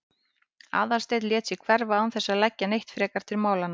Aðalsteinn lét sig hverfa án þess að leggja neitt frekar til málanna.